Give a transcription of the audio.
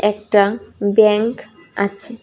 একটা ব্যাংক আছে।